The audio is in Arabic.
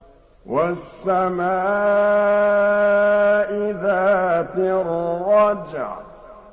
وَالسَّمَاءِ ذَاتِ الرَّجْعِ